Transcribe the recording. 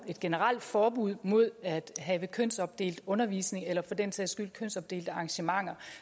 generelt forbud mod at have kønsopdelt undervisning eller for den sags skyld kønsopdelte arrangementer